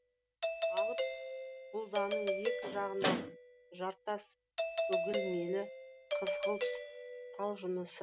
алып бұдданың екі жағындағы жартас үгілмелі қызғылт тау жынысы